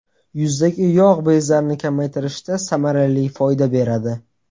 Yuzdagi yog‘ bezlarini kamaytirishda samarali foyda beradi.